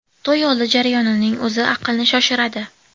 To‘y oldi jarayonining o‘zi aqlni shoshiradi.